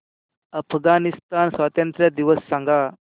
अफगाणिस्तान स्वातंत्र्य दिवस सांगा